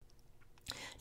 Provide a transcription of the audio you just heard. DR2